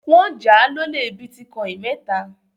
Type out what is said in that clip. Wọ́n jà á lólè bítíkọ́ìn mẹ́ta.